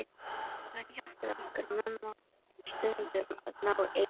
Og hann hjálpaði okkur Mumma stundum að ná eyrum hennar.